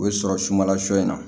O bɛ sɔrɔ sumala sɔ in na